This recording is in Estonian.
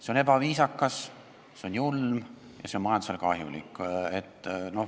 See on ebaviisakas, see on julm ja see on majandusele kahjulik.